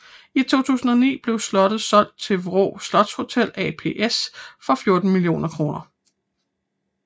I 2009 blev slottet solgt til Vraa Slotshotel ApS for 14 mio kr